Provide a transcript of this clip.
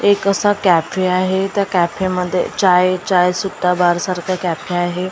एक असा कॅफे आहे त्या कॅफे मध्ये चाय चाय सुद्धा बार सारखं कॅफे आहे.